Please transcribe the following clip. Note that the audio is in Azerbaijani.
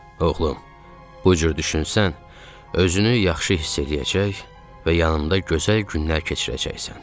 Oğlum, bu cür düşünsən, özünü yaxşı hiss eləyəcək və yanımda gözəl günlər keçirəcəksən.